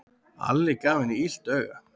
Alli gaf henni illt auga.